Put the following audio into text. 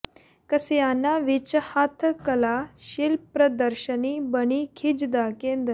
ਕਸਿਆਣਾ ਵਿੱਚ ਹੱਥ ਕਲਾ ਸ਼ਿਲਪ ਪ੍ਰਦਰਸ਼ਨੀ ਬਣੀ ਖਿੱਚ ਦਾ ਕੇਂਦਰ